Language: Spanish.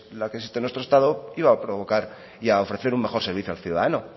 la que existe en nuestro estado iba a provocar y a ofrecer un mejor servicio al ciudadano